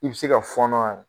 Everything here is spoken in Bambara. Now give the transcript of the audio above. I bɛ se ka fɔɔnɔ wa